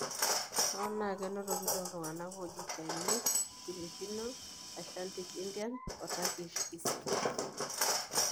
Hoo naa, enotoki toltunganak oji Chinese, Filipino, Asiatic Indian, and Turkish descent.